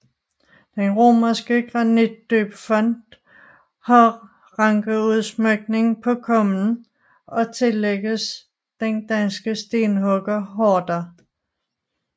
Den romanske granitdøbefont har rankeudsmykning på kummen og tillægges den danske stenhugger Horder